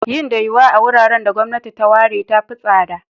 Yin da yuwa a wuraren da gwamnati ta ware ta fi tsada.